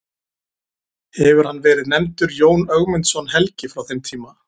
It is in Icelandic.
Hefur hann verið nefndur Jón Ögmundsson helgi frá þeim tíma.